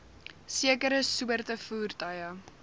sekere soorte voertuie